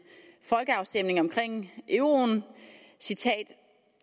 folkeafstemningen om euroen